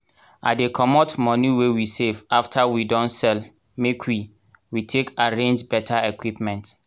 i dey commot moni wey we save after we don sell make we we take arrange beta equipment.